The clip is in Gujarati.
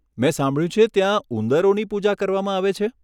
મેં સાંભળ્યું છે ત્યાં ઉંદરોની પૂજા કરવામાં આવે છે!